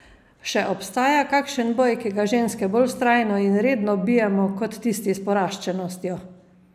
Še obstaja kakšen boj, ki ga ženske bolj vztrajno in redno bijemo, kot tisti s poraščenostjo?